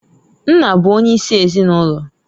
Nna bụ onye isi ezinụlọ.